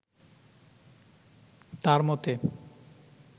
তাঁর মতে